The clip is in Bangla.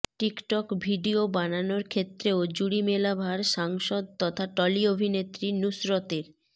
টিকটক ভিডিও বানানোর ক্ষেত্রেও জুড়ি মেলা ভার সাংসদ তথা টলি অভিনেত্রী নুসরতের